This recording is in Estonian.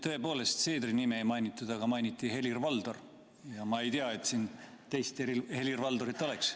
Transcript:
Tõepoolest, Seedri nime ei mainitud, aga mainiti Helir-Valdorit ja ma ei tea, et siin teist Helir-Valdorit oleks.